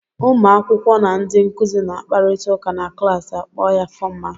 Ụmụ akwụkwọ na ndị nkụzi na akparịta ụka na klaasị a kpọọ ya fọmal.